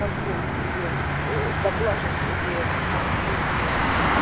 позволить себе вот ээ заглаживать эти конфликты